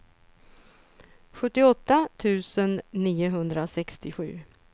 sjuttioåtta tusen niohundrasextiosju